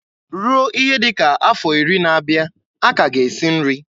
Ruo ihe dị ka afọ iri na-abịa, a ka ga esi nri.